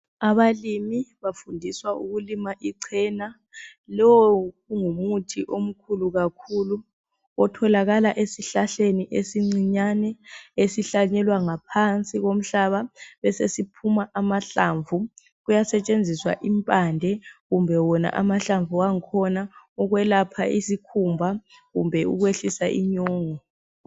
Abalimi bafundiswa ukulima ichena. Lowo kungumuthi omkhulu kakhulu otholakala esihlahleni esincinyane esihlanyelwa ngaphansi komhlaba besesiphuma amahlamvu. Kuyasetshenziswa impande kumbe wona amahlamv' angkhona ukwelapha isikhumba kumbe ukwehlisa inyongo.